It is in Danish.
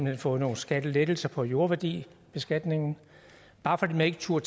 hen fået nogle skattelettelser på jordværdibeskatningen bare fordi man ikke turde